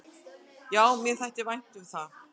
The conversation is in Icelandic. """Já, mér þætti vænt um það."""